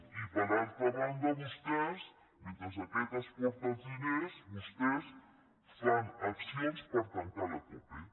i per altra banda vostès mentre aquest s’emporta els diners vostès fan accions per tancar la cope